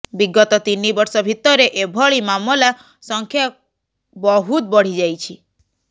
ବିଗତ ତିନି ବର୍ଷ ଭିତରେ ଏଭଳି ମାମଲା ସଂଖ୍ୟା ବହୁତ ବଢ଼ିଯାଇଛି